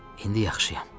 İndi yaxşıyam.